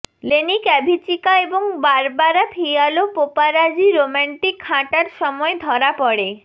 Lenny ক্যভিচিকা এবং Barbara Fialho paparazzi romantic হাঁটার সময় ধরা পড়ে